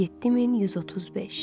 7135.